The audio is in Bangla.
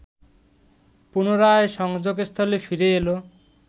পুনরায় সংযোগস্থলে ফিরে এল